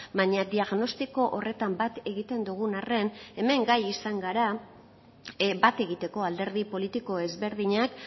baina diagnostiko horretan bat egiten dugun arren hemen gai izan gara bat egiteko alderdi politiko ezberdinak